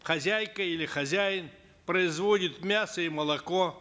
хозяйка или хозяин производит мясо и молоко